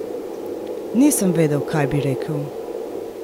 Nisem vedel, kaj bi rekel!